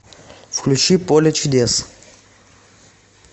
включи поле чудес